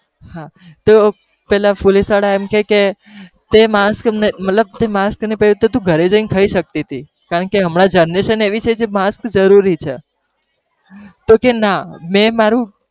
હાં તો પેલા police વાળા એમ કે તે mask મતલબ તે mask પહેરીયું નહી તો તું ઘરે જઈને ને ખાઈ શકતી હતી કારણ કે હમણા જ generation આવી છે માસ્ક જરૂરી છે, તો કે ના મેં માર્રું